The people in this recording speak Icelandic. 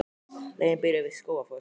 Leiðin byrjar við Skógafoss.